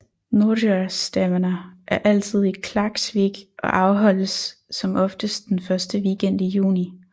Norðoyastevna er altid i Klaksvík og afholdes som oftest den første weekend i juni